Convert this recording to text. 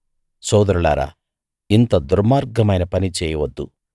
సోదరులారా ఇంత దుర్మార్గమైన పని చేయవద్దు